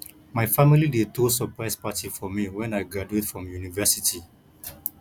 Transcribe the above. my family dey throw surprise party for me when i graduate from university